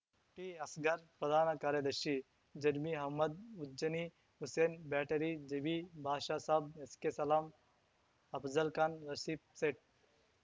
ಟಿಅಸ್ಗರ್‌ ಪ್ರಧಾನ ಕಾರ್ಯದರ್ಶಿ ಜರ್ಮೀ ಅಹ್ಮದ್‌ ಉಜ್ಜನಿ ಹುಸೇನ್‌ ಬ್ಯಾಟರಿ ಜಬಿ ಬಾಷಾ ಸಾಬ್‌ ಎಸ್‌ಕೆಸಲಾಮ್‌ ಅಫಜಲ್‌ ಖಾನ್‌ ರಫೀಕ್‌ ಸೇಠ್‌